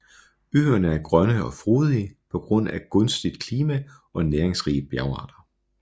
Øerne er grønne og frodige på grund af gunstigt klima og næringsrige bjergarter